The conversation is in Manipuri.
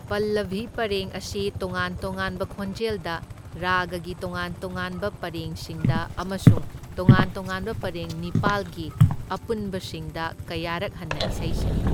ꯄꯜꯂꯚꯤ ꯄꯔꯦꯡ ꯑꯁꯤ ꯇꯣꯉꯥꯟ ꯇꯣꯉꯥꯟꯕ ꯈꯣꯟꯖꯦꯜꯗ, ꯔꯥꯒꯒꯤ ꯇꯣꯉꯥꯟ ꯇꯣꯉꯥꯟꯕ ꯄꯔꯦꯡꯁꯤꯡꯗ ꯑꯃꯁꯨꯡ ꯇꯣꯉꯥꯟ ꯇꯣꯉꯥꯟꯕ ꯄꯔꯦꯡ ꯅꯤꯄꯥꯜꯒꯤ ꯑꯄꯨꯟꯕꯁꯤꯡꯗ ꯀꯌꯥꯔꯛ ꯍꯟꯅ ꯏꯁꯩ ꯁꯛꯏ꯫